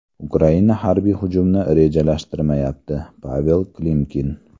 Ukraina harbiy hujumni rejalashtirmayapti Pavel Klimkin.